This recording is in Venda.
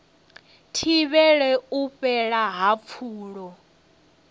thivhele u fhela ha pfulo